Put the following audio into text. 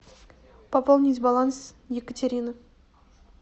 пополнить баланс екатерина